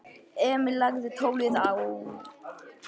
Emil lagði tólið á.